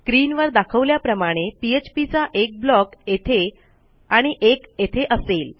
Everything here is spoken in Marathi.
स्क्रीनवर दाखवल्याप्रमाणे पीएचपी चा एकblock येथे आणि एक येथे असेल